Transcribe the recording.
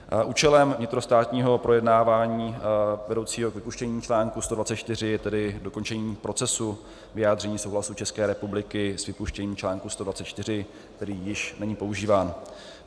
Účelem vnitrostátního projednávání vedoucího k vypuštění článku 124 je tedy dokončení procesu vyjádření souhlasu České republiky s vypuštěním článku 124, který již není používán.